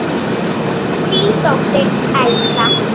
Þín dóttir, Elsa.